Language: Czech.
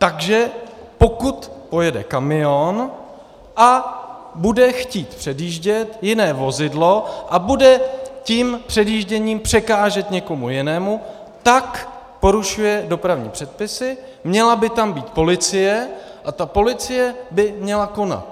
Takže pokud pojede kamion a bude chtít předjíždět jiné vozidlo a bude tím předjížděním překážet někomu jinému, tak porušuje dopravní předpisy, měla by tam být policie a ta policie by měla konat.